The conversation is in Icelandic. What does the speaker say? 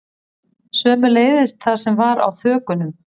Sömuleiðis það sem var á þökunum